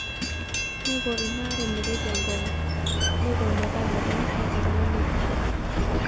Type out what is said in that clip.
Neiko ina are metejia enkongu neiko metaa medolisho oltungani aitobiraki.